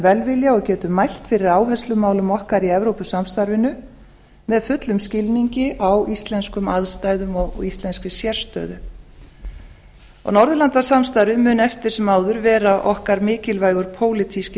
velvilja og getum mælt fyrir áherslumálum okkar í evrópusamstarfinu með fullum skilningi á íslenskum aðstæðum og íslenskri sérstöðu norðurlandaráðið mun eftir sem áður vera okkur miklilvægur pólitískur